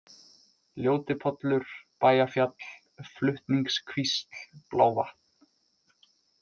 Ljótipollur, Bæjafjall, Flutningskvísl, Blávatn